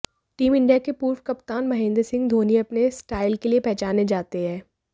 team India के पूर्व कप्तान महेंद्र सिंह धोनी अपने स्टाइल के लिए पहचाने जाते हैं